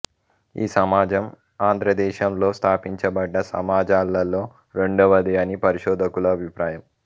ఈ సమాజం ఆంధ్రదేశంలో స్థాపించబడ్డ సమాజాలలో రెండవది అని పరిశోధకుల అభిప్రాయం